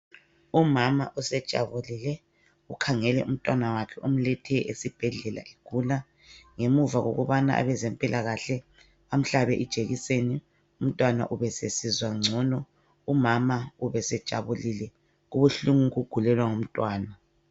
Umama usejabulile. Ukhangele umntwana wakhe omlethe esibhedlela egula. Ngemuva kokubana abezempilakahle bamhlabe ijekiseni umntwana ubesesizwa ngcono, umama ubesejabulile. Kubuhlungu ukugulelwa ngumntwana.